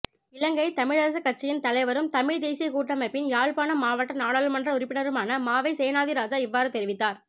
இலங்கைத் தமிழரசுக் கட்சியின் தலைவரும் தமிழ்த் தேசியக் கூட்டமைப்பின் யாழ்ப்பாணம் மாவட்ட நாடாளுமன்ற உறுப்பினருமான மாவை சேனாதிராஜா இவ்வாறு தெரிவித்தார்